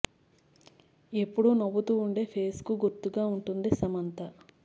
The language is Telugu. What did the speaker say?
ఎప్పుడూ నవ్వుతూ ఉండే ఫేస్ కు గుర్తుగా ఉంటుంది సమంత